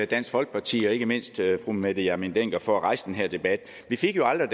dansk folkeparti og ikke mindst fru mette hjermind dencker for at rejse den her debat vi fik jo aldrig